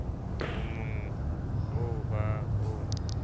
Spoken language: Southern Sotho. o mogn oo ba o